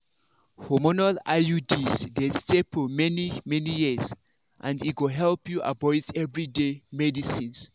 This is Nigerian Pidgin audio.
hormonal iuds dey stay for many-many years and e go help you avoid everyday medicines.